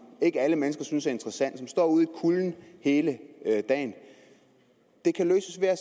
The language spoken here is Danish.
ikke alle mennesker synes er interessant og som står ude i kulden hele dagen det kan løses ved at